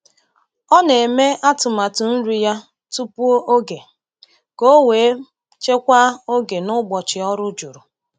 Ọ na-eme atụmatụ nri ya tupu oge ka o wee chekwaa oge n’ụbọchị ọrụ juru.